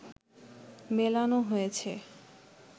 মেলানো হয়েছে